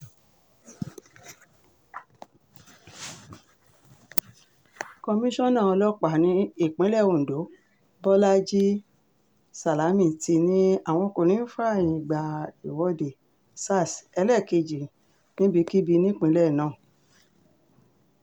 komisanna ọlọ́pàá ìpínlẹ̀ ondo bolaji salami ti ní àwọn kò ní í fààyè gba ìwọ́de sars ẹlẹ́ẹ̀kejì níbikíbi nípínlẹ̀ náà